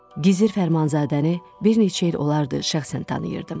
Gizir Fərmanzadəni bir neçə il olardı şəxsən tanıyırdım.